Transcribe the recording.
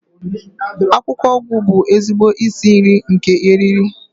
Akwụkwọ ugu bụ ezigbo isi iyi nke eriri